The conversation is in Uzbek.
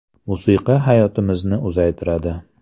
Musiqa hayotimizni uzaytiradi.